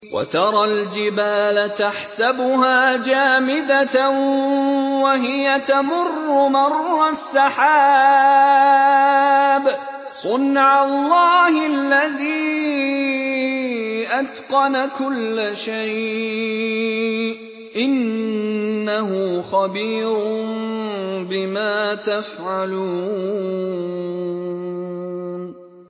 وَتَرَى الْجِبَالَ تَحْسَبُهَا جَامِدَةً وَهِيَ تَمُرُّ مَرَّ السَّحَابِ ۚ صُنْعَ اللَّهِ الَّذِي أَتْقَنَ كُلَّ شَيْءٍ ۚ إِنَّهُ خَبِيرٌ بِمَا تَفْعَلُونَ